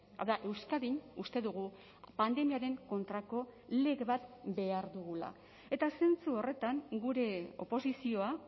hau da euskadin uste dugu pandemiaren kontrako lege bat behar dugula eta zentzu horretan gure oposizioa